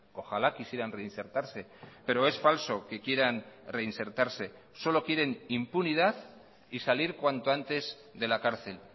ojalá quisieran reinsertarse pero es falso que quieran reinsertarse solo quieren impunidad y salir cuanto antes de la cárcel